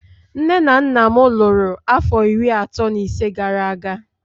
Nne na nna m lụrụ afọ iri atọ na ise gara aga